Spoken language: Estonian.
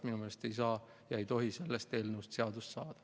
Minu meelest ei tohi sellest eelnõust seadus saada.